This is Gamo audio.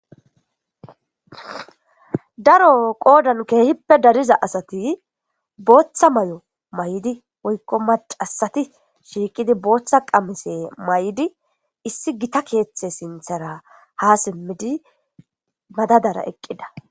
daro qoodan keehippe dariza asati booththa may7o may7di woykko macasati shiiqidi booththa qamise may7di issi gita keeththe sinthara ha simmidi madadara eqqida